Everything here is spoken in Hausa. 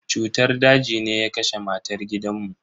Cutar daji ne ya kashe matan gidan mu.